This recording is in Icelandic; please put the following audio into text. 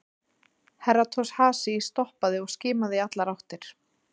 Herra Toshazi stoppaði og skimaði í allar áttir.